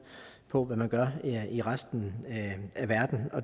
på hvad man gør i resten af verden